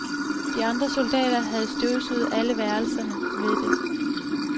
De andre soldater havde støvsuget alle værelserne ved det